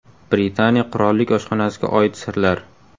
Britaniya qirollik oshxonasiga oid sirlar.